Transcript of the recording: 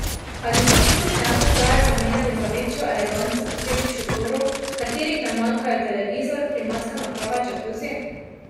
Ali bi to sproščenost raje zamenjali za večjo eleganco posebnih šotorov, v katerih ne manjkajo televizor, klimatska naprava, džakuzi?